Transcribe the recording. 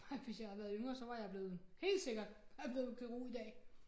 Nej hvis jeg havde været yngre så var jeg blevet helt sikkert så havde jeg blevet kirurg i dag